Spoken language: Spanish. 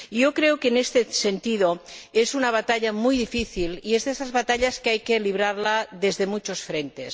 Creo, en este sentido, que es una batalla muy difícil y es de esas batallas que hay que librar desde muchos frentes.